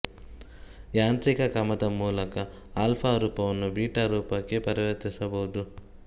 ಯಾಂತ್ರಿಕ ಕ್ರಮದ ಮೂಲಕ ಆಲ್ಫಾ ರೂಪವನ್ನು ಬೀಟಾ ರೂಪಕ್ಕೆ ಪರಿವರ್ತಿಸಬಹುದು